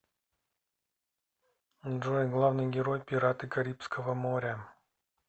джой главный герой пираты карибского моря